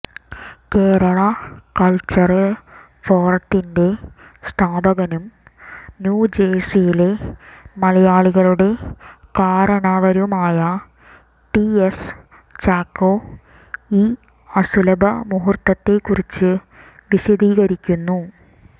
Kerala cultural ഫോറത്തിന്റെ സ്ഥാപകനും ന്യൂജേഴ്സിയിലെ മലയാളികളുടെ കാരണവരുമായ ടി എസ് ചാക്കോ ഈ അസുലഭ മുഹൂർത്തത്തെക്കുറിച്ചു വിശദീകരിയ്ക്കുന്നു